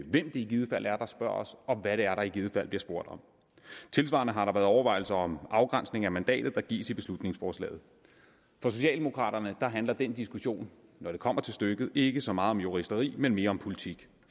hvem det i givet fald er der spørger os og hvad det er der i givet fald bliver spurgt om tilsvarende har der været overvejelser om afgrænsning af mandatet der gives i beslutningsforslaget for socialdemokraterne handler den diskussion når det kommer til stykket ikke så meget om juristeri men mere om politik